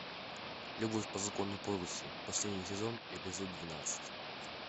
любовь по закону подлости последний сезон эпизод двенадцать